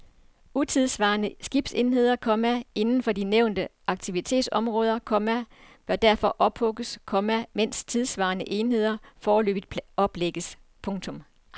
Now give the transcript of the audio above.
Utidssvarende skibsenheder, komma inden for de nævnte aktivitetsområder, komma bør derfor ophugges, komma mens tidssvarende enheder forløbigt oplægges. punktum